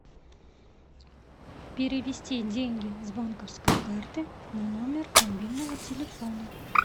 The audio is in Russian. перевести деньги с банковской карты на номер мобильного телефона